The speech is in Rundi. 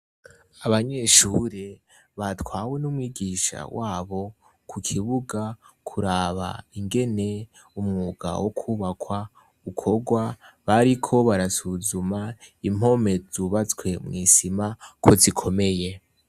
Abanyeshure, batwawe n'umwigisha wabo ku kibuga kuraba ingene umwuga wo kubakwa ukorwa bariko barasuzuma impome zubatswe mw'isima ko zikomeye.